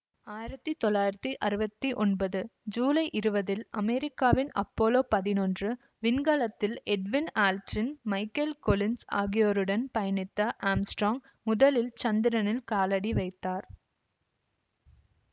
ஆயிரத்தி தொள்ளாயிரத்தி அறுவத்தி ஒன்பது ஜூலை இருவதில் அமெரிக்காவின் அப்போலோ பதினொன்று விண்கலத்தில் எட்வின் ஆல்ட்ரின் மைக்கேல் கொலின்ஸ் ஆகியோருடன் பயணித்த ஆம்ஸ்ட்றோங் முதலில் சந்திரனில் காலடி வைத்தார்